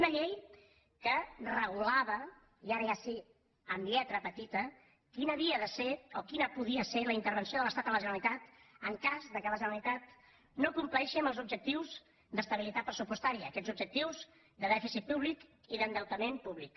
una llei que regulava i ara ja sí amb lletra petita quina havia de ser o quina podia ser la intervenció de l’estat a la generalitat en cas que la generalitat no compleixi els objectius d’estabilitat pressupostària aquests objectius de dèficit públic i d’endeutament públic